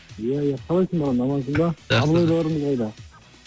ия ия қалайсың бауырым амансың ба абылайларыңыз қайда